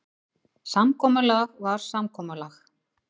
Samkomulag var samkomulag.